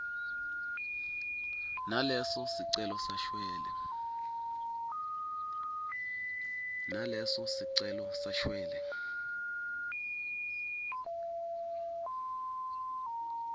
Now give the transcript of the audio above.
naleso sicelo sashwele